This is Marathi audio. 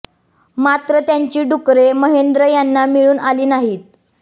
मात्र त्यांची डुकरे महेंद्र यांना मिळून आली नाहीत